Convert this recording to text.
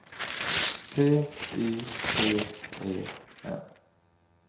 T Y P E N